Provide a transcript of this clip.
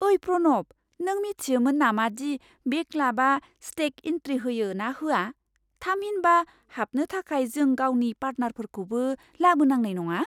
ओइ प्रनब, नों मिथियोमोन नामादि बे क्लाबआ स्टेग इन्ट्रि होयो ना होआ? थामहिनबा हाबनो थाखाय जों गावनि पार्टनारफोरखौबो लाबोनांनाय नङा।